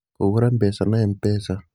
Kũgũra mbeca na M-pesa: